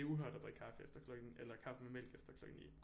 Det er uhørt at drikke kaffe efter klokken eller kaffe med mælk efter klokken 9